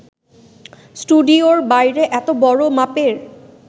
স্টুডিওর বাইরে এত বড় মাপের